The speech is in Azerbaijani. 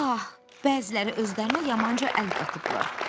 Pah, bəziləri özlərinə yamanca əl qatıblar.